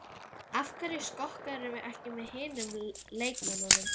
Af hverju skokkarðu ekki með hinum leikmönnunum?